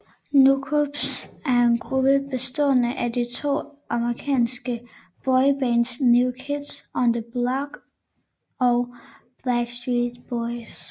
NKOTBSB er en gruppe bestående af de to amerikanske boybands New Kids on the Block og Backstreet Boys